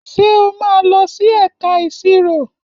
Ṣé o máa lọ sí ẹ̀ka ìṣirò?